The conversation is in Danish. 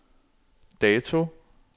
dato